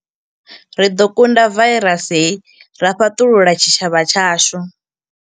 Ri ḓo kunda vairasi hei ra fhaṱulula tshitshavha tshashu.